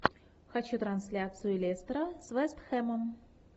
хочу трансляцию лестера с вест хэмом